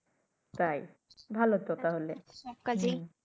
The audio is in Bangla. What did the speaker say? তাই ভালো তো তাইলে সব কাজেই।